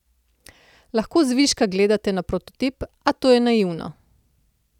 Lahko zviška gledate na prototip, a to je naivno.